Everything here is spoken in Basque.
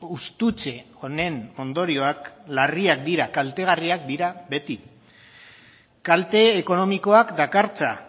hustutze honen ondorioak larriak dira kaltegarriak dira beti kalte ekonomikoak dakartza